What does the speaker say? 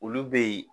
Olu be yen